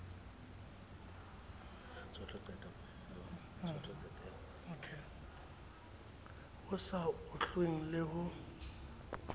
ho sa ohlweng le ho